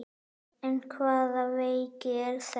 En hvaða veiki er þetta?